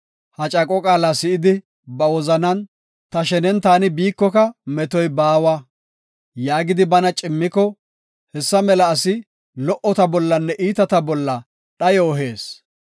Ha caaqo qaala si7idi, ba wozanan, “Ta shenen taani biikoka, metoy baawa” yaagidi bana cimmiko, hessa mela asi lo77ota bollanne iitata bolla dhayo ehees.